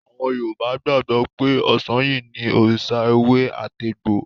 Àwọn Yorùbá gbàgbọ́ pé Ọ̀sanyì ni òrìṣà ewé-àtegbò.